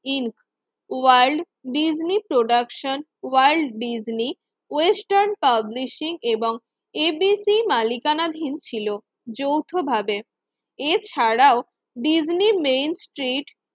In Walt Disney production World Disney Western publishing এবং ABC মালিকানাধীন ছিল যৌথ ভাবে। এছাড়াও ডিজনি মেন স্ট্রিট